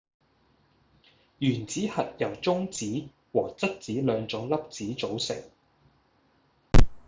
原子核由中子和質子兩種粒子組成